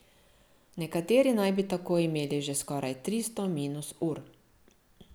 Nekateri naj bi tako imeli že skoraj tristo minus ur.